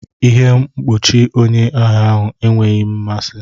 Ihe mkpuchi onye agha ahụ enweghị m mmasị.